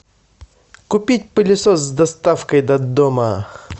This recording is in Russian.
купить пылесос с доставкой до дома